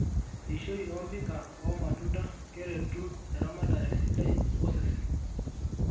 Eishoi o mpika wo matunda keretu eramatare sidai osesen.